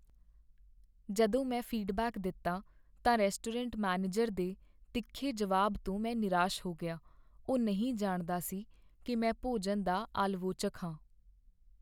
ਜਦੋਂ ਮੈਂ ਫੀਡਬੈਕ ਦਿੱਤਾ ਤਾਂ ਰੈਸਟੋਰੈਂਟ ਮੈਨੇਜਰ ਦੇ ਤਿੱਖੇ ਜਵਾਬ ਤੋਂ ਮੈਂ ਨਿਰਾਸ਼ ਹੋ ਗਿਆ। ਉਹ ਨਹੀਂ ਜਾਣਦਾ ਸੀ ਕੀ ਮੈਂ ਭੋਜਨ ਦਾ ਆਲਵੋਚਕ ਹਾਂ।